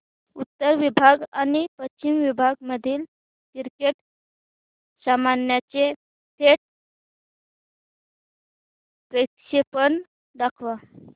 उत्तर विभाग आणि पश्चिम विभाग मधील क्रिकेट सामन्याचे थेट प्रक्षेपण दाखवा